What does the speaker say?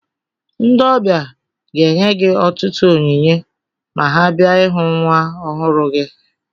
Ndị ọbịa ga-enye gị ọtụtụ onyinye ma ha bia ịhụ nwa ọhụrụ gị